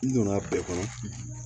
N donna bɛɛ kɔnɔ